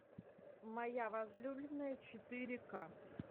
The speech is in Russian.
моя возлюбленная четыре к